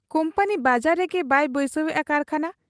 Company ᱵᱟᱡᱟᱨ ᱨᱮᱜᱮ ᱵᱟᱭ ᱵᱟᱹᱭᱥᱟᱹᱣᱮᱜ ᱟ ᱠᱟᱹᱨᱠᱷᱟᱱᱟ ᱾